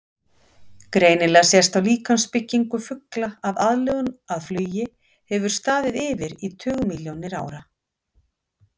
Greinilega sést á líkamsbyggingu fugla að aðlögun að flugi hefur staðið yfir í tugmilljónir ára.